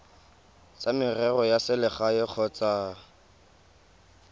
tsa merero ya selegae kgotsa